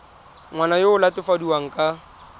ngwana yo o latofadiwang ka